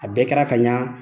A bɛɛ kɛra ka ɲa